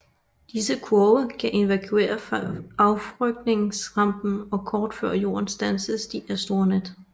Disse kurve kan evakuere affyringsrampen og kort før jorden standses de af store net